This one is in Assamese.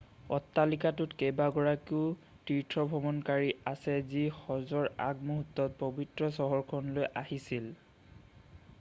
অট্ৰালিকাটোত কেইবাগৰাকীও তীৰ্থভ্ৰমণকাৰী আছে যি হজৰ আগমুহূ্ৰ্তত পবিত্ৰ চহৰখনলৈ আহিছিল